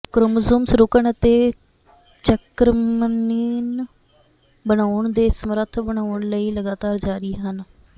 chromosomes ਰੁਕਣ ਅਤੇ ਚਕ੍ਰਮਨੀਨ ਬਣਾਉਣ ਦੇ ਸਮਰੱਥ ਬਣਾਉਣ ਲਈ ਲਗਾਤਾਰ ਜਾਰੀ ਹਨ